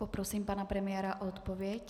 Poprosím pana premiéra o odpověď.